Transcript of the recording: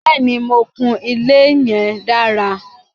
Bẹ́ẹ̀ni, mo kùn ilé yẹn dára.